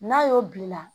N'a y'o bina